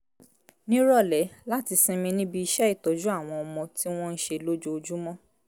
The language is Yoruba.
nírọ̀lẹ́ láti sinmi níbi iṣẹ́ ìtọ́jú àwọn ọmọ tí wọ́n ń ṣe lójoojúmọ́